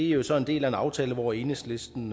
jo så en del af en aftale hvor enhedslisten